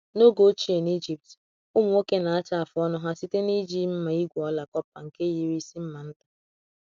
N’oge ochie n’Ijipt, ụmụ nwoke na-acha afụ ọnụ ha site n’iji mma igwe ọla kọpa nke yiri isi mma nta.